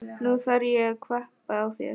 Og nú þarf ég að kvabba á þér!